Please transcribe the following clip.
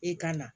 E ka na